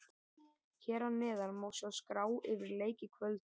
Hér að neðan má sjá skrá yfir leiki kvöldsins.